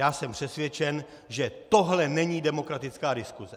Já jsem přesvědčen, že tohle není demokratická diskuse.